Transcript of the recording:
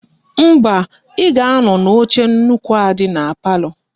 Mba, I ga-ano n'oche nnukwu a di na palo.